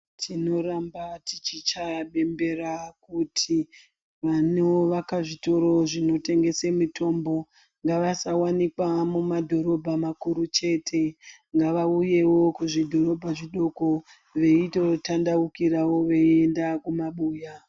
Tinoramba tichichaya bembera kuti vanovaka zvitoro zvinotengese mitombo ngavasawanikwa mumadhorobha makuru chete ngavauyewo kuzvidhorobha zvidoko veito tandaukirawo veienda mumabuya.